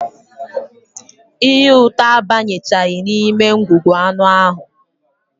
Ihe ụtọ abanyechaghị n'ime ngwugwu anụ ahụ